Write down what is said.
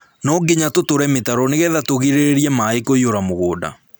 No nginya tũtũre mĩtaro nĩgetha tũgirĩrĩrie maaĩ kũiyũra mũgũnda